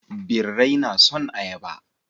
Birrai na son ayaba.